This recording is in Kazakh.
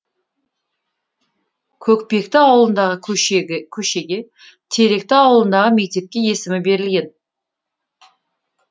көкпекті ауылындағы көшеге теректі ауылындағы мектепке есімі берілген